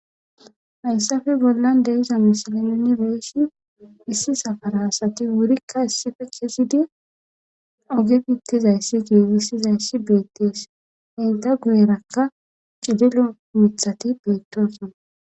hayssafe bollan deiza misili minibeeshi issi safaraasati wurikka issife kesidi oge pittizayssi giigissizayssi beettees henta guyerakka cidilo mithati beettosana